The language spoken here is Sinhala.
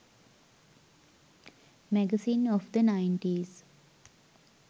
magazines of the 90s